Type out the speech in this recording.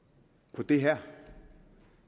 på det her